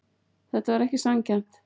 Þetta var ekki sanngjarnt.